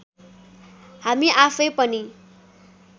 हामी आफैँ पनि